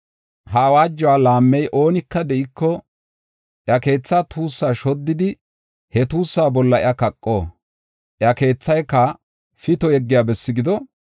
Ha awaajuwa laammiya oonika de7iko, iya keethaa tuussaa shoddidi, he tuussaa bolla iya kaqo; iya keethayka pito yeggiya besse gido.